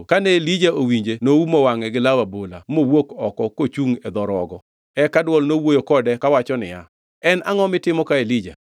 Kane Elija owinje noumo wangʼe gi law abola mowuok oko kochungʼ e dho rogo. Eka dwol nowuoyo kode kawacho niya, “En angʼo mitimo ka Elija?”